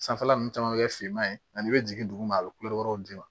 Sanfɛla ninnu caman bɛ kɛ finman ye ani i bɛ jigin duguma a bɛ kule wɛrɛw di ma